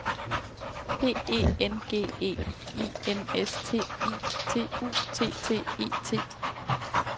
P E N G E I N S T I T U T T E T